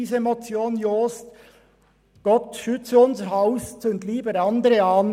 «Gott schütze unser Haus und zünde lieber andere an».